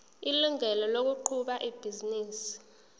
ilungelo lokuqhuba ibhizinisi